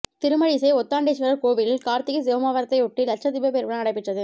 திருமழிசை ஒத்தாண்டேஸ்வரர் கோவிலில் கார்த்திகை சோமவாரத்தையொட்டி லட்ச தீப பெருவிழா நடைப்பெற்றது